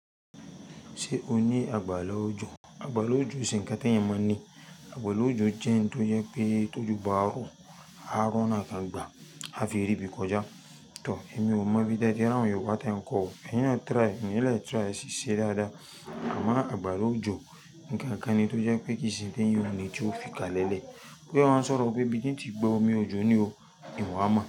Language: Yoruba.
Ṣé o ní àgbàlá ojò? Àgbàlá ojò o se ńkán ti ẹ̀eyàn maa n ni. Àgbàra ojò jẹ́ ohun tó jẹ́ pé tó òjò bá rọ̀, á rí ọ̀nà lọ gbà, á ríbi kọjá. Tọ̀, èmi ò mọ̀ bí tí ẹ ti rí àwọn yóruba tí ẹ ń kọ o, ẹ̀yin na try, ẹyin na try, e ṣi ṣẹ́ dáadáa. À mọ́ àgbàrá ojò, ǹkan kan ni tó jẹ́ pé kì í ṣe ẹ̀eyàn o nì tí ó fi kalẹ̀ lẹ̀. Bóyá ẹ wá ń sọ̀rọ̀ pé bí ti n tì gbe omi ojò ni o, ìwà mo.